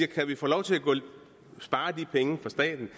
kan få lov til at spare de penge for staten